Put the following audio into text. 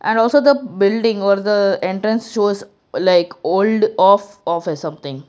and also the building or the entrance shows like old of office something.